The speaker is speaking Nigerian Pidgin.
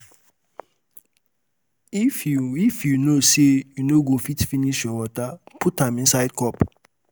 If you If you know say you no go fit finish your water put am inside your cup